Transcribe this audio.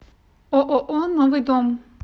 ооо новый дом